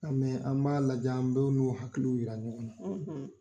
mɛ an b'a lajɛ an b'o n'u hakiliw yira ɲɔgɔnna.